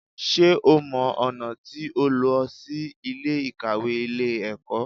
Sé o mọ ọ̀nà tí ó lọ sí Ilé ìkàwé Ilé ẹ̀kọ́?